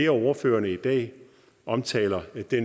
af ordførerne i dag omtaler